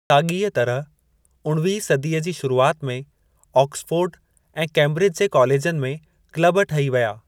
साॻीअ तरह, उणवीहीं सदीअ जी शुरूआति में ऑक्सफोर्ड ऐं कैंब्रिज जे कालेजनि में क्लब ठही विया।